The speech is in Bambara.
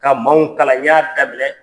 Ka maaw kalan n y'a daminɛ